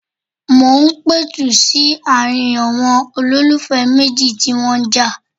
Mo ń pẹ̀tù sí ààrin ̀ọn olólùfẹ́ méjì tí ó ń jà.